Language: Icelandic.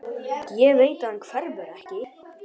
Ég veit að hann hverfur ekki.